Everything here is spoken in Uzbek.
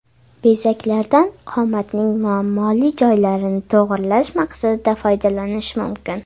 Bezaklardan qomatning muammoli joylarini to‘g‘rilash maqsadida foydalanish mumkin.